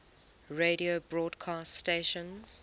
radio broadcast stations